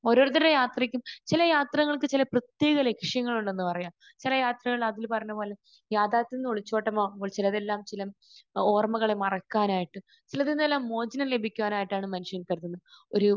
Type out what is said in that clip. ഓരോരുത്തരുടെ യാത്രക്കും ചില യാത്രകൾക്ക് ചില പ്രത്യേക ലക്ഷ്യങ്ങളുണ്ടെന്ന് പറയാം. ചില യാത്രകൾ അഖിൽ പറഞ്ഞത് പോലെ തന്നെ യാഥാർഥ്യങ്ങളിൽ നിന്നുള്ള ഒളിച്ചോട്ടമാകുമ്പോൽ ചിലരെല്ലാം ചില ഓർമ്മകൾ മറക്കാനായിട്ട് ചിലതിൽ നിന്ന് മോചനം ലഭിക്കാനായിട്ടാണെന്ന് ചിലർ കരുതുന്നു. ഒരു